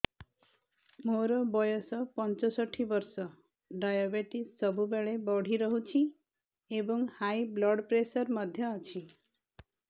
ମୋର ବୟସ ପଞ୍ଚଷଠି ବର୍ଷ ଡାଏବେଟିସ ସବୁବେଳେ ବଢି ରହୁଛି ଏବଂ ହାଇ ବ୍ଲଡ଼ ପ୍ରେସର ମଧ୍ୟ ଅଛି